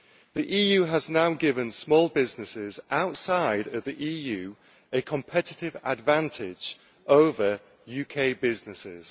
The EU has now given small businesses outside the EU a competitive advantage over UK businesses.